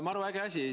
Maru äge asi!